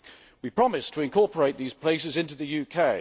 We promise to incorporate these places into the UK.